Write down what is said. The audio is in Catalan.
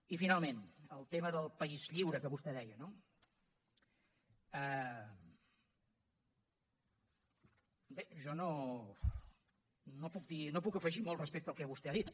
i finalment el tema del país lliure que vostè deia no bé jo no puc afegir molt respecte al que vostè ha dit